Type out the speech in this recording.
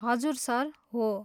हजुर सर, हो ।